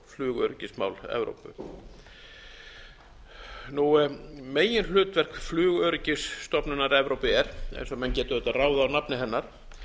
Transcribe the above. flugöryggismál evrópu meginhlutverk flugöryggisstofnunar evrópu er eins og menn geta auðvitað ráðið af nafni hennar